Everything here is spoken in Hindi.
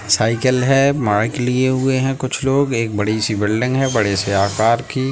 साइकल है माइक लिए हुए है कुछ लोग एक बड़ी सी बिल्डिंग है बड़े से आकर की--